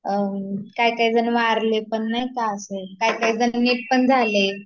काही काही जन वारले पण नाही का अशे, काही काही जन नीट पण झाले